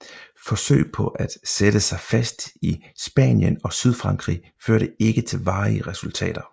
Forsøg på at sætte sig fast i Spanien og Sydfrankrig førte ikke til varige resultater